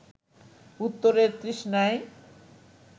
উত্তরের তৃষ্ণায়